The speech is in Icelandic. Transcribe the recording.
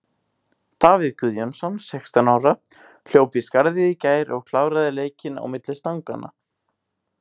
Davíð Guðjónsson, sextán ára, hljóp í skarðið í gær og kláraði leikinn á milli stanganna.